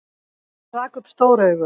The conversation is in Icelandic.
Hann rak upp stór augu.